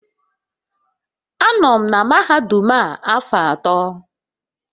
Anọ m na mahadum a afọ atọ.